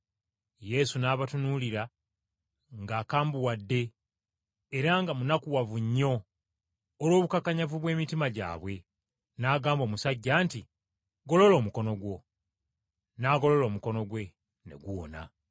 Yesu n’abatunuulira ng’akambuwadde era nga munakuwavu nnyo olw’obukakanyavu bw’emitima gyabwe, n’agamba omusajja nti, “Golola omukono gwo.” N’agolola omukono gwe, ne guwona.